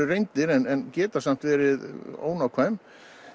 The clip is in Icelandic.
reyndra en geta verið ónákvæm